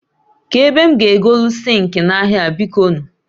Ka ebe m ga egoli zinki n'ahia a biko nu?